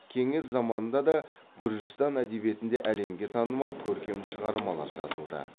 кеңес заманында да гүржістан әдебиетінде әлемге танымал көркем шығармалар жазылды